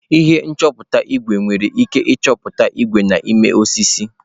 Ihe nchọpụta ígwè nwere ike ịchọpụta ígwè dị n'ime osisi.